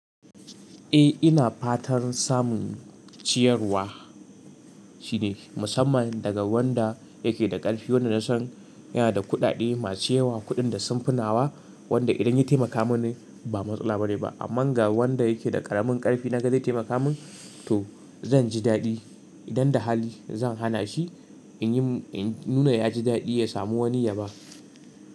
Eh ina fatan samun ciyarwa shi ne musamman daga wanda yake da ƙarfi, wanda na san yana da kuɗaɗe masu yawa, kuɗin da sun finawa wanda idan ya taimaka mini ba matsala bane ba. Amma ga wanda yake da ƙaramin ƙarfi naga zai taimaka min to zan ji daɗi. Idan da hali zan hana shi in yi, in nuna ya ji daɗi ya samu wani ya ba.